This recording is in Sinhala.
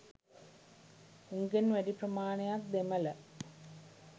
උන්ගෙන් වැඩි ප්‍රමාණයක් දෙමළ.